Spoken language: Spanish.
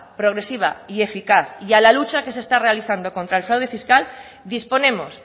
progresiva y eficaz y a la lucha que se está realizando contra el fraude fiscal disponemos